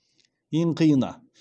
ең қиыны